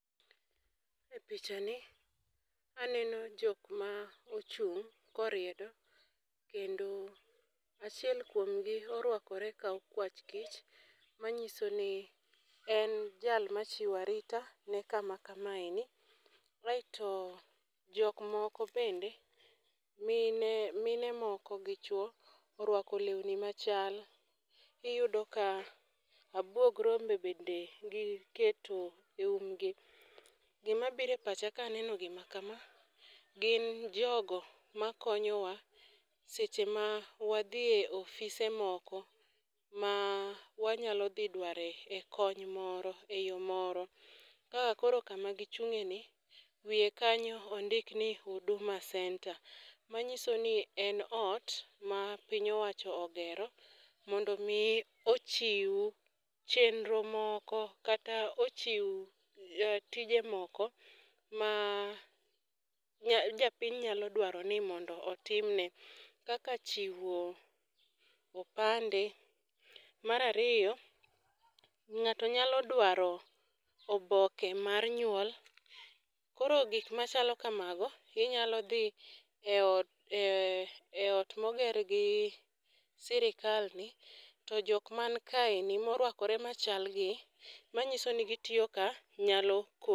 E picha ni aneno jok ma ochung' koriedo, kendo achiel kuom gi orwakore ka okwach kich. Manyiso ni en jal machiwo arita ne kama kamaeni, aeto jok moko bende, mine mine moko gi chwo, orwako lewni machal. Iyudo ka abuog rombe bende gi keto e umgi. Gima bire pacha kaneno gima kama, gin jogo ma konyowa seche ma wadhi e ofise moko ma wanyalo dhi dware e kony moro e yo moro. Kaka koro kama gichung'e ni, wiye kanyo ondik ni Huduma centre, ma nyiso ni en ot ma piny owacho ogero, mondo mi ochiw chenro moko kata ochiw tije moko ma japiny nyalo dwaro ni otimne, kaka chiwo opande. Marariyo, ng'ato nyalo dwaro oboke mar nyuol. koro gik machalo kamago, inyalo dhi e ot e ot moger gi sirikal ni. To jok man kaeni morwakore machal gi manyiso ni gitiyo ka, nyalo ko.